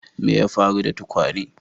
Me ya faru da tukwane?